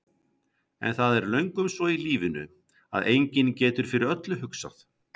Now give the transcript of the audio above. En það er löngum svo í lífinu að enginn getur fyrir öllu hugsað.